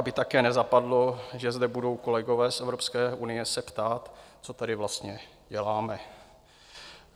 Aby také nezapadlo, že zde budou kolegové z Evropské unie se ptát, co tady vlastně děláme.